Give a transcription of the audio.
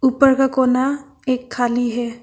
ऊपर का कोना एक खाली है।